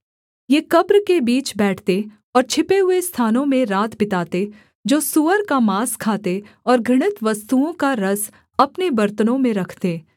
ये कब्र के बीच बैठते और छिपे हुए स्थानों में रात बिताते जो सूअर का माँस खाते और घृणित वस्तुओं का रस अपने बर्तनों में रखते